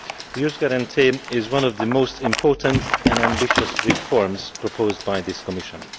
The Youth Guarantee is one of the most important and ambitious reforms proposed by this Commission.